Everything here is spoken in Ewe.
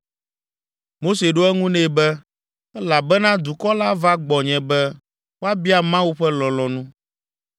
Mose ɖo eŋu nɛ be, “Elabena dukɔ la va gbɔnye be woabia Mawu ƒe lɔlɔ̃nu.